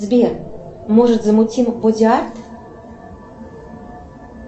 сбер может замутим бодиарт